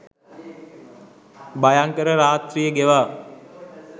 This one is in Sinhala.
භයංකර රාත්‍රිය ගෙවා